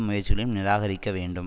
முயற்சிகளையும் நிராகரிக்க வேண்டும்